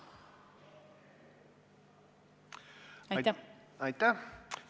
Aitäh!